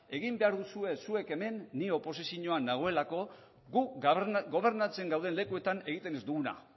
egin behar duzue zuek hemen ni oposizioan nagoelako gu gobernatzen gauden lekuetan egiten ez duguna